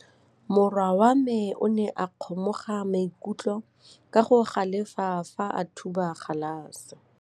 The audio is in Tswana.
Morwa wa me o ne a kgomoga maikutlo ka go galefa fa a thuba galase.